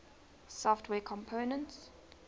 software components